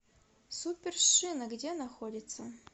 супер шина где находится